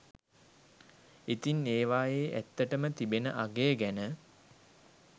ඉතින් ඒවායේ ඇත්තටම තිබෙන අගය ගැන